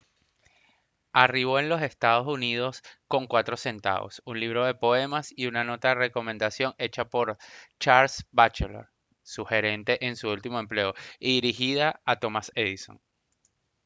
arribó en los ee. uu. con 4 centavos un libro de poemas y una nota de recomendación hecha por charles batchelor su gerente en su último empleo y dirigida a thomas edison